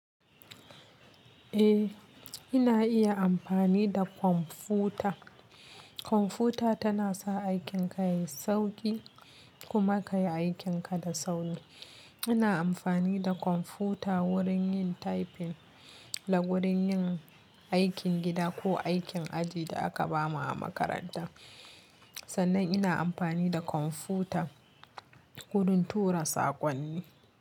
Eh, ina iya amfani da kwamfuta. Kwamfuta tana sa aikin ka yayi sauƙi kuma ka yi aikin ka da sauri. Ina amfani da kwamfuta wurin yin typing da wurin yin aikin gida ko aikin aji da aka bamu a makaranta. Sannan ina amfani da kwamfuta wurin tura saƙonni.